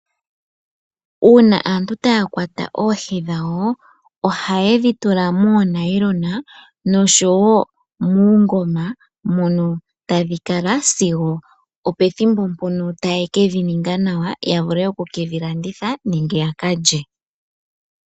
Uuna aantu taya kwata oohi dhawo, ohayedhi tula moonayilona noshowo muungoma mono tadhi kala sigo opethimbo mpono taye kedhi ninga nawa yavule oku kedhilanditha nenge yaka lye.